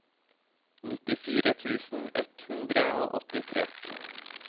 nittifire tusen ett hundre og åttitre